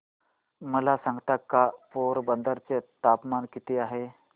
मला सांगता का पोरबंदर चे तापमान किती आहे